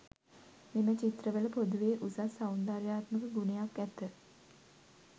මෙම චිත්‍රවල පොදුවේ උසස් සෞන්දර්යාත්මක ගුණයක් ඇත.